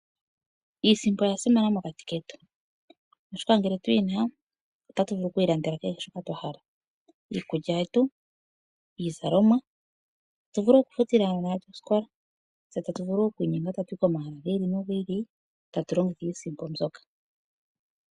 Iisimpo oya simana mokati ketu oshoka ngele tuyina otatu vulu okwiilandela kehe shoka twa hala iikulya yetu, iizalomwa .Otatu vulu wo okufutila aanona osikola nenge otatu vulu okuya komahala gi ili nogi ili tatu longo iisimpo mbyoka.